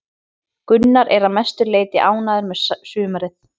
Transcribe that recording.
Gunnar er að mestu leiti ánægður með sumarið.